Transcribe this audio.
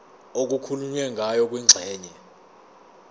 okukhulunywe ngayo kwingxenye